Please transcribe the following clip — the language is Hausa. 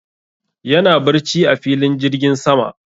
yana barci a filin jirgin sama